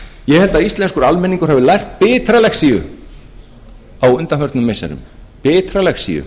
ég held að íslenskur almenningur hafi lært bitra lexíu á undanförnum missirum bitra lexíu